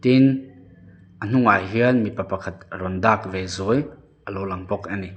tin a hnungah hian mipa pakhat rawn dak ve zuai alo lang bawk ani.